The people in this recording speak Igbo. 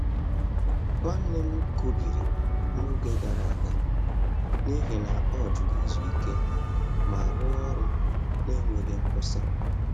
Nwanne m kubiri n’oge gara aga n’ihi na ọ jụru izu ike ma rụọ ọrụ n’enweghị nkwụsị.